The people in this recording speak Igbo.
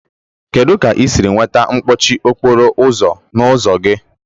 Kedu ka ị siri nweta mkpọchi okporo ụzọ n'ụzọ gị?